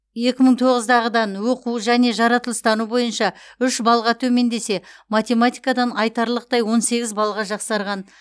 екі мың тоғыздағыдан оқу және жаратылыстану бойынша үш балға төмендесе математикадан айтарлықтай он сегіз балға жақсарған